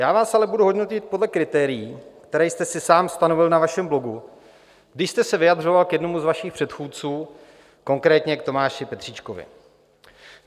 Já vás ale budu hodnotit podle kritérií, která jste si sám stanovil na vašem blogu, když jste se vyjadřoval k jednomu z vašich předchůdců, konkrétně k Tomáši Petříčkovi.